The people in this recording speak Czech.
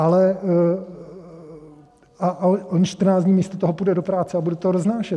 Ale on 14 dní místo toho půjde do práce a bude to roznášet.